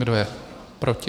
Kdo je proti?